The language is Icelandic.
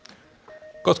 gott